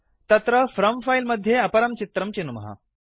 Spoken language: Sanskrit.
तत्र फ्रॉम् फिले मध्ये अपरं चित्रम् चिनुमः